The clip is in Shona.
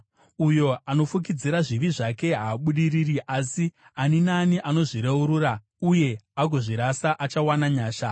Uyo anofukidzira zvivi zvake haabudiriri, asi ani naani anozvireurura uye agozvirasa achawana nyasha.